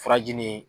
Furaji nin